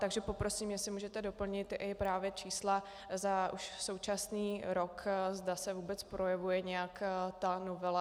Takže poprosím, jestli můžete doplnit i právě čísla za už současný rok, zda se vůbec projevuje nějak ta novela.